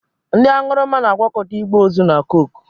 Ndị aṅụrụma na-agwakọta igbe ozu na koke